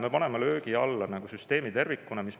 Me paneme löögi alla süsteemi tervikuna oma riigis.